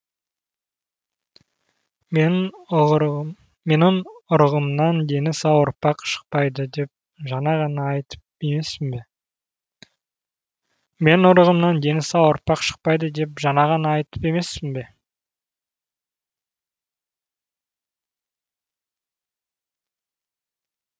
менің ұрығымнан дені сау ұрпақ шықпайды деп жаңа ғана айтып емеспін бе